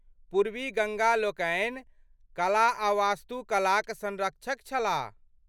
पूर्वी गङ्गा लोकनि कला आ वास्तुकलाक सँरक्षक छलाह।